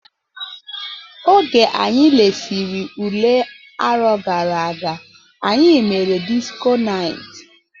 Oge anyi lesiri ụle arọ gara aga, anyị mere disko night.